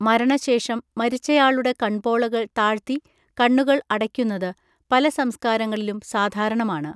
മരണശേഷം, മരിച്ചയാളുടെ കൺപോളകൾ താഴ്ത്തി കണ്ണുകൾ അടയ്ക്കുന്നത് പല സംസ്കാരങ്ങളിലും സാധാരണമാണ്.